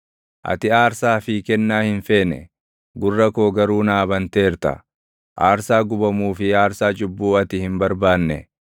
Ati aarsaa fi kennaa hin feene; gurra koo garuu naa banteerta; aarsaa gubamuu fi aarsaa cubbuu ati hin barbaanne.